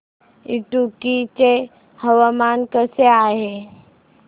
इडुक्की चे हवामान कसे आहे